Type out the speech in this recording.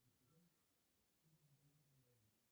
сбер что такое ухта